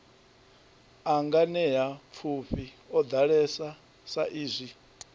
a nganeapfufhi o ḓalesa saizwi